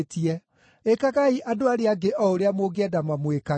Ĩkagai andũ arĩa angĩ o ũrĩa mũngĩenda mamwĩkage.